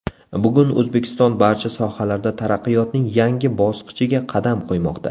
Bugun O‘zbekiston barcha sohalarda taraqqiyotning yangi bosqichiga qadam qo‘ymoqda.